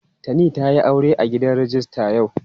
Tani ta yi aure a gidan rijista yau.